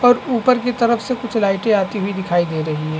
और ऊपर की तरफ से कुछ लाइटें आती हुई दिखाई दे रही है।